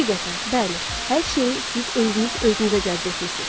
Həqiqətən, bəli, hər şeyi siz özünüz özünüzə cəzb etmisiniz.